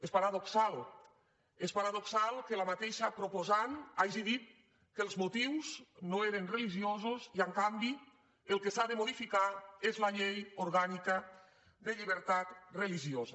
és paradoxal és paradoxal que la mateixa proposant hagi dit que els motius no eren religiosos i en canvi el que s’ha de modificar és la llei orgànica de llibertat religiosa